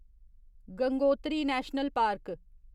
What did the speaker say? Gangotri national park